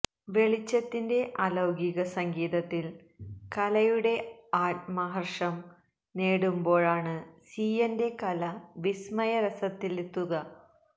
വെളിച്ചത്തിന്റെ അലൌകിക സംഗീതത്തില് കലയുടെ ആത്മഹര്ഷം നേടുമ്പോഴാണ് സീയെന്റെ കല വിസ്മയ രസത്തിലെത്തുക